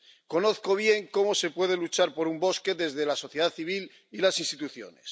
Conozco bien cómo se puede luchar por un bosque desde la sociedad civil y las instituciones.